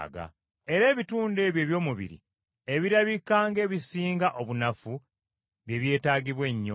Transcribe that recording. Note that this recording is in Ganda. Era ebitundu ebyo eby’omubiri ebirabika ng’ebisinga obunafu bye byetaagibwa ennyo.